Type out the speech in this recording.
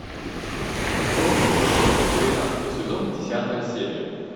форс мажоры двенадцатый сезон десятая серия